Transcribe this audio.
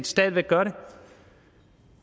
stadig væk gør det